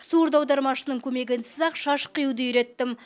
сурдоаудармашының көмегінсіз ақ шаш қиюды үйреттім